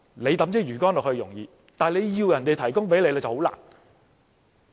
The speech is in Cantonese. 他拋出魚竿容易，但他要求別人提供，卻很困難。